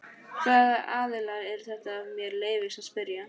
Hvaða aðilar eru þetta ef mér leyfist að spyrja?